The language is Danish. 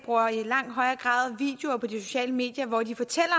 i langt højere grad videoer på de sociale medier hvor de fortæller